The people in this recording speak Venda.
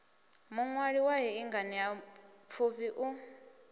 muṅwali wa hei nganeapfufhi u